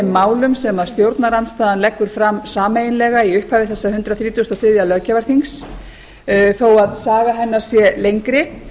málum sem stjórnarandstaðan leggur fram sameiginlega í upphafi þessa hundrað þrítugasta og þriðja löggjafarþings þó að saga hennar sé lengri